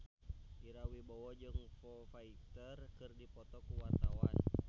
Ira Wibowo jeung Foo Fighter keur dipoto ku wartawan